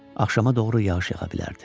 Axşama doğru yağış yağa bilərdi.